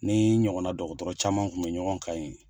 Ni n ɲɔgɔnna dɔgɔtɔrɔ caman kun be ɲɔgɔn kan ye